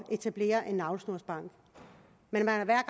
etablere en navlesnorsbank men man har hver